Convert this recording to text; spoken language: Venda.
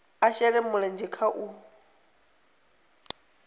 a shele mulenzhe kha u